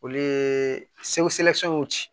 Olu ye ci